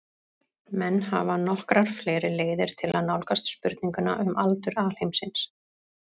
Menn hafa nokkrar fleiri leiðir til að nálgast spurninguna um aldur alheimsins.